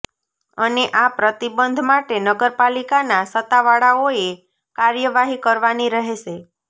અને આ પ્રતિબંધ માટે નગરપાલીકાના સત્તાવાળાઓએ કાર્યવાહી કરવાની રહેશે